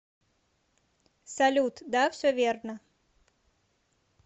салют да все верно